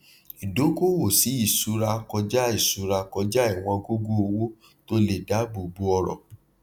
ìdókòwò sí ìṣúra kọjá ìṣúra kọjá iwòn gógó owó tó lè dáàbò bò ọrọ